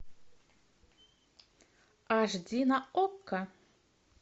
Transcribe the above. аш ди на окко